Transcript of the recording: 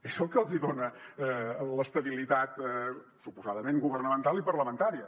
és el que el dona l’estabilitat suposadament governamental i parlamentària